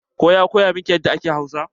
Wa ya koya miki yadda ake Hausa?